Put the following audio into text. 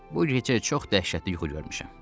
Bu gecə çox dəhşətli yuxu görmüşəm.